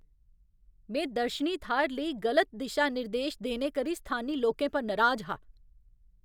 में दर्शनी थाह्‌र लेई गलत दिशा निर्देश देने करी स्थानी लोकें पर नराज हा।